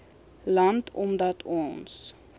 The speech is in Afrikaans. land omdat ons